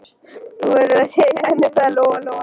Þú verður að segja henni það, sagði Lóa-Lóa.